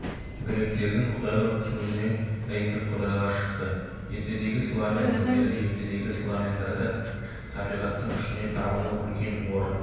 гректердің құдайлық түсінігінен римдік құдайлар шықты ертедегі славян діндері ертедегі славяндарда табиғаттың күшіне табыну үлкен орын